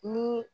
Ni